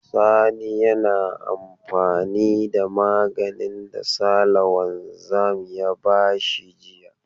Sani yana amfani da maganin da Sale wanzan ya ba shi jiya.